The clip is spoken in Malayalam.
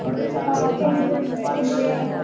സ്പീക്കർ 2 അവിടുത്തെ താരോഖാസി മലനിരകളിൽനിന്ന്